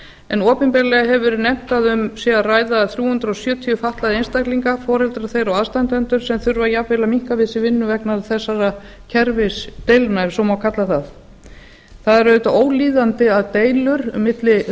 en opinberlega hefur verið nefnt að um sé að ræða þrjú hundruð sjötíu fatlaða einstaklinga foreldra þeirra og aðstandendur sem þurfa jafnvel að minnka við sig vinnu vegna þessara kerfisdeilna ef svo má kalla það það er auðvitað ólíðandi að deilur milli